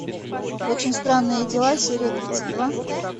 очень странные дела серия тридцать два